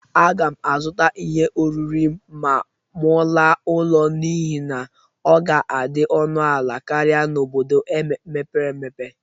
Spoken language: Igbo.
Aga m azụta ihe oriri ma mụ laa ụlọ n'ihe na ọ ga-adị ọnụ ala karịa n'obodo a mepere emepe.